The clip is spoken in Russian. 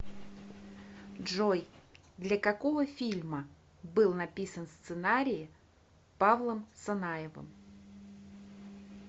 джой для какого фильма был написан сценарии павлом санаевым